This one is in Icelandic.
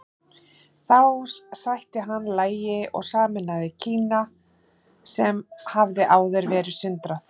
Þá sætti hann lagi og sameinaði Kína sem hafði áður verið sundrað.